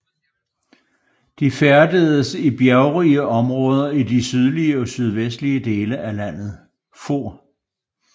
De for i bjergrige områder i de sydlige og sydvestlige dele af landet